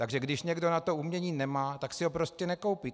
Takže když někdo na to umění nemá, tak si ho prostě nekoupí.